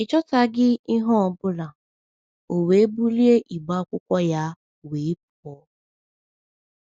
Ị chọtaghị ihe ọ bụla, o we bulie igbe akwụkwọ ya wee pụọ!